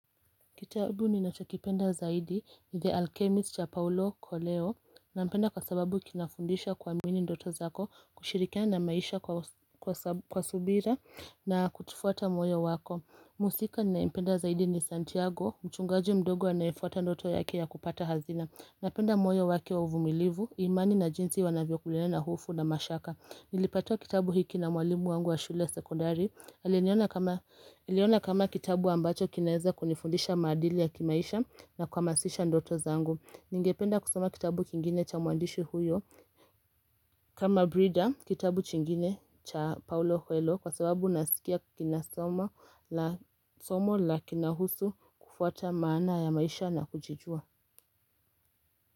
Kitabu ni natakipenda zaidi ni The Alchemist ya Paulo Koleo na mpenda kwa sababu kinafundisha kwa mwini ndoto zako kushirikia na maisha kwa subira na kutufuata moyo wako Musika na mpenda zaidi ni Santiago, mchungaji mdogo wanaifuata ndoto yake ya kupata hazina na penda moyo waki wa uvumilivu, imani na jinsi wanavyo kulena na hofu na mashaka Nilipatiwa kitabu hiki na mwalimu wangu wa shule sekondari Hali niona kama kitabu ambacho kinaeza kunifundisha madili ya kimaisha na kwa masisha ndoto zangu. Ningependa kusoma kitabu kingine cha muandishi huyo. Kama Brida, kitabu chingine cha Paulo Huelo kwa sababu nasikia kina somo la kina husu kufuata maana ya maisha na kujijua.